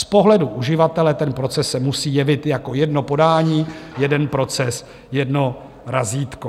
Z pohledu uživatele ten proces se musí jevit jako jedno podání, jeden proces, jedno razítko.